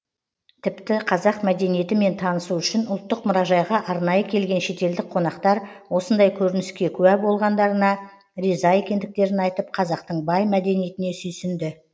тіпті қазақ мәдениетімен танысу үшін ұлттық мұражайға арнайы келген шетелдік қонақтар осындай көрініске куә болғандарына риза екендіктерін айтып қазақтың бай мәдениетіне сүйсінді